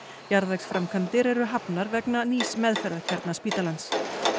jarðvegsframkvæmdir eru hafnar vegna nýs meðferðarkjarna spítalans